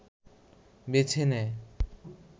বেছে নেয়